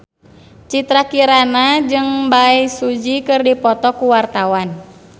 Citra Kirana jeung Bae Su Ji keur dipoto ku wartawan